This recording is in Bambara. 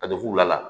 Ka don fula la